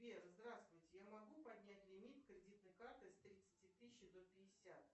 сбер здравствуйте я могу поднять лимит кредитной карты с тридцати тысяч до пятьдесят